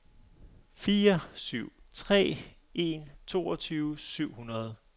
fire syv tre en toogtyve syv hundrede